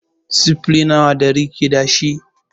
Sifili nawa ɗari ke dashi?